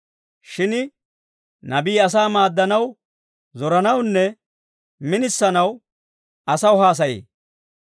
Shin nabii asaa maaddanaw, zoranawunne minisanaw asaw haasayee.